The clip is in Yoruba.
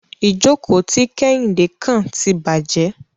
Ìjókò tí Kéhìndé kàn tí bàjé.